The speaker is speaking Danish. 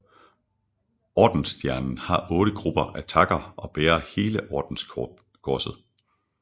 Ordensstjernen har otte grupper af takker og bærer hele ordenskorset